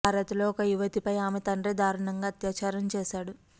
భారత్ లో ఒక యువతిపై ఆమె తండ్రే దారుణంగా అత్యాచారం చేశాడు